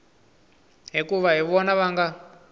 hikuva hi vona va nga